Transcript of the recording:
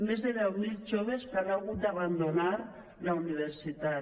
més deu mil joves han hagut d’abandonar la universitat